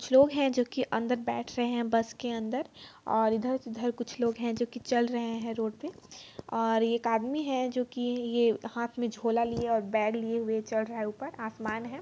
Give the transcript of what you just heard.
कुछ लोग हैं जो की अंदर बैठ रहे है बस क अंदर और इधर चिधर कुछ लोग हैं जो की चल रहे रोड पे और एक आदमी है की ये हाथ में झोला लिए बैग लिए हुए चढ़ रहा है ऊपर आसमान है।